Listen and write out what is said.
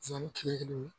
kile kelen